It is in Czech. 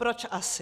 Proč asi?